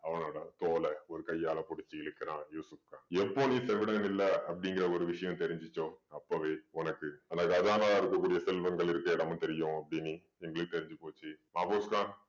அவனோட தோள ஒரு கையால பிடிச்சு இழுக்கறான் யூசுஃப் கான். எப்போ நீ செவிடன் இல்ல அப்படீங்கற ஒரு விஷயம் தெரிஞ்சுச்சோ அப்போவே உனக்கு அந்த கஜானாவில் இருக்க கூடிய செல்வங்கள் இருக்கிற இடமும் தெரியும் அப்படீன்னு எங்களுக்கு தெரிஞ்சு போச்சு. மாஃபூஸ் கான்